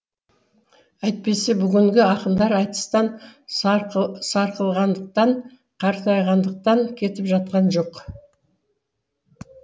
әйтпесе бүгінгі ақындар айтыстан сарқылғандықтан қартайғандықтан кетіп жатқан жоқ